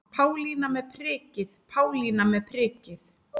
Pálína með prikið, Pálína með prikið.